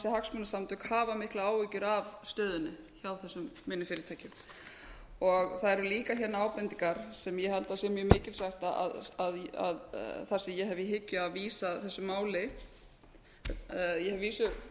hagsmunasamtök hafa miklar áhyggjur af stöðunni hjá þessum minni fyrirtækjum það eru líka hérna ábendingar sem ég held að sé mjög mikilsvert að þar sem ég hef í hyggju að vísa þessu máli ég hef að vísu